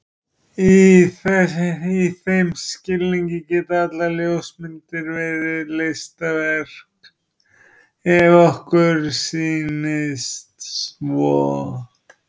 Í þeim skilningi geta allar ljósmyndir verið listaverk ef okkur sýnist svo.